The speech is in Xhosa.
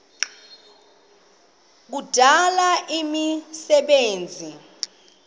kuya kudala imisebenzi